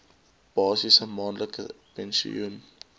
basiese maandelikse pensioen